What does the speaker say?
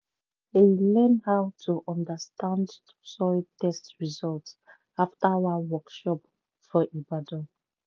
i learn how to understand soil test result after one workshop for ibadan